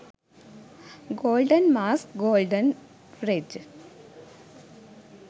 golden mask gold dredge